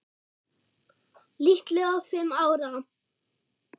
Líklega fimm ára.